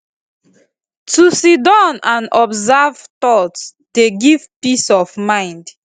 to siddon and observe thought dey give peace of mind